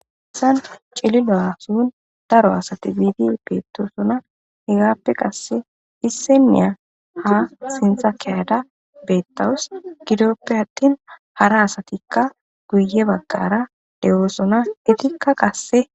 Dalgga cilillo Akon daro assathi bidi bethossona hegapoe qasse issinaya ha sintha ke'da bethawus gidoppe athin hara assathikka guye bagara de'ossona ethikka qasse